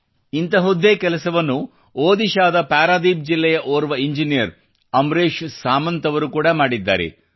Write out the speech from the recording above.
ಇಂತಹದ್ದೇ ಕೆಲಸವನ್ನು ಒಡಿಶ್ಸಾದ ಪಾರಾದೀಪ್ ಜಿಲ್ಲೆಯ ಓರ್ವ ಇಂಜಿನಿಯರ್ ಅಮ್ರೇಶ್ ಸುಮಂತ್ ಅವರು ಕೂಡಾ ಮಾಡಿದ್ದಾರೆ